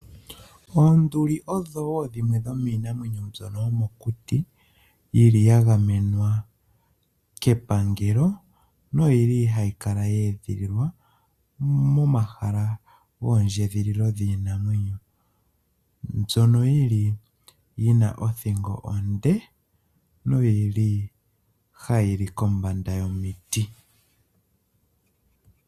Oonduli odho wo dhimwe dhomiinamwenyo mbyoka yomokuti ya gamenwa kepangelo, ndjoka hayi kala ya edhililwa momahala gondjedhililo yiinamwenyo. Ohadhi kala dhi na othingo onde, no ha yili kombanda yomiti.